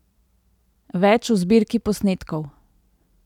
Več v zbirki posnetkov!